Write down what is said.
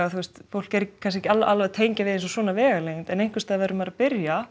fólk er ekki alveg að tengja við svona vegalengdir en einhversstaðar verður maður að byrja